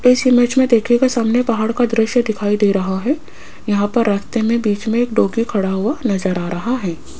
इस इमेज में देखिएगा सामने पहाड़ का दृश्य दिखाई दे रहा है यहां पर रास्ते में बिच में एक डॉगी खड़ा हुआ नजर आ रहा है।